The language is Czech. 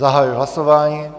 Zahajuji hlasování.